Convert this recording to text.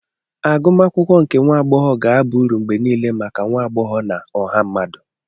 Agụmakwụkwọ nke nwa agbọghọ ga-aba uru mgbe niile maka nwa agbọghọ na ọha mmadụ.